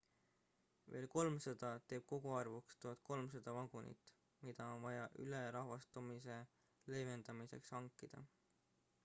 veel 300 teeb koguarvuks 1300 vagunit mida on vaja ülerahvastamise leevedamiseks hankida